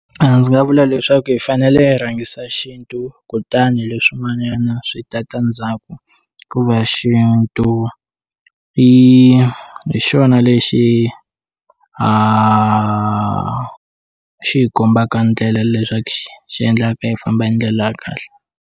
Ndzi nga vula leswaku hi fanele hi rhangisa xintu kutani leswin'wanyana swi ta ta ndzhaku ku va xintu i hi xona lexi xi hi kombaka ndlela leswaku xi endlaka hi famba hi ndlela ya kahle.